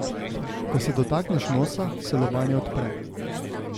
Ko se dotakneš nosa, se lobanja odpre.